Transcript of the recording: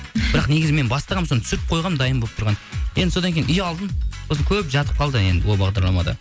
бірақ негізі мен бастағанмын соны түсіріп қойғанмын дайын болып тұрған енді содан кейін ұялдым сосын көп жатып қалды енді ол бағдарлама да